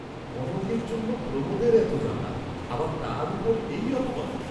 কনকের জন্য প্রমোদের এত জ্বালা, আবার তার উপর এই অপবাদ!